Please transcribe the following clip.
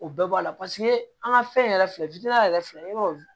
O bɛɛ b'a la paseke an ka fɛn yɛrɛ filɛ yɛrɛ filɛ i b'a dɔn